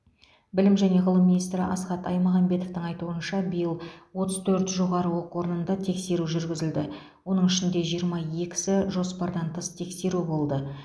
білім және ғылым министрі асхат аймағамбетовтің айтуынша биыл отыз төрт жоғары оқу орнында тексеру жүргізілді оның ішінде жиырма екісі жоспардан тыс тексеру болды